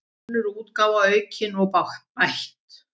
Önnur útgáfa, aukin og bætt.